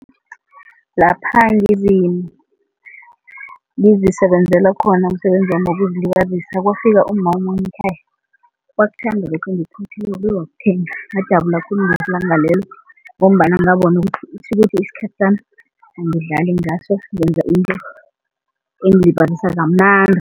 Lapha ngizisebenzela khona umsebenzi wami wokuzilibazisa kwafika umma omunye ekhaya wakuthanda lokhu engikuphothelako bawakuthenga, ngajabula khulu langalelo ngombana ngabona ukuthi tjhukuthi isikhathi sami angidlali ngaso ngenza into kamnandi.